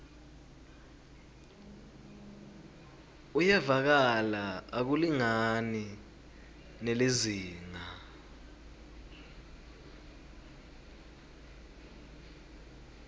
uyevakala akulingani nelizingaa